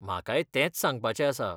म्हाकाय तेंच सांगपाचें आसा.